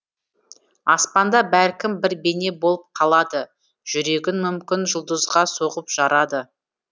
аспанда бәлкім бір бейне болып қалады жүрегін мүмкін жұлдызға соғып жарады